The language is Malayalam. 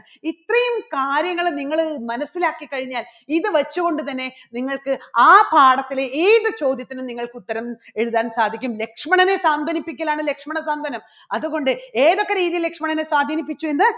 ഇത്രയും കാര്യങ്ങള് നിങ്ങള് മനസ്സിലാക്കി കഴിഞ്ഞാൽ ഇത് വച്ചുകൊണ്ടുതന്നെ നിങ്ങൾക്ക് ആ പാഠത്തിലെ ഏതു ചോദ്യത്തിനും നിങ്ങൾക്ക് ഉത്തരം എഴുതാൻ സാധിക്കും. ലക്ഷ്മണനെ സാന്ത്വനിപ്പിക്കലാണ് ലക്ഷ്മണ സാന്ത്വനം അതുകൊണ്ട് ഏതൊക്കെ രീതിയിൽ ലക്ഷ്മണനെ സ്വാധിനിപ്പിച്ചു എന്ന്